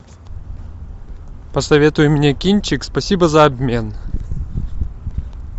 посоветуй мне кинчик спасибо за обмен